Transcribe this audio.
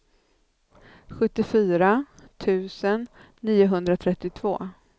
sjuttiofyra tusen niohundratrettiotvå